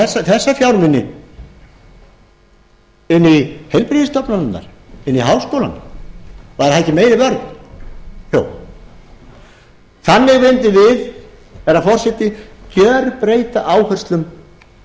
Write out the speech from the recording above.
fjármuni inn í heilbrigðisstofnanirnar inn í háskólana væri það ekki meiri jú þannig mundum við herra forseti gjörbreyta áherslunum við